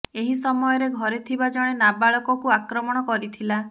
ଏହି ସମୟରେ ଘରେ ଥିବା ଜଣେ ନାବାଳକକୁ ଆକ୍ରମଣ କରିଥିଲା